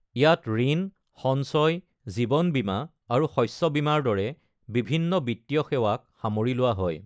ইয়াত ঋণ, সঞ্চয়, জীৱন বীমা আৰু শস্য বীমাৰ দৰে বিভিন্ন বিত্তীয় সেৱাক সামৰি লোৱা হয়।